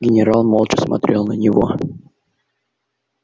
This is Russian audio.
генерал молча смотрел на него